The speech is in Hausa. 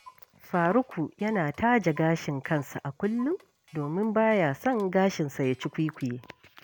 Faruku yana taje gashin kansa a kullum domin ba ya son gashinsa ya cukwikwiye